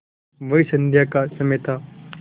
वही संध्या का समय था